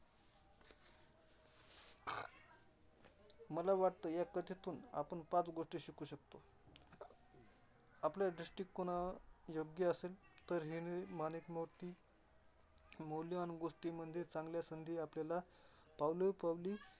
मला वाटत ह्या कथेतून आपण पाच गोष्टी शिकू शकतो. आपला दृष्टीकोना योग्य असेल तर हिरे, माणिक, मोती मौल्यवान गोष्टी म्हणजे चांगल्या संधी आपल्याला पावलोपवली.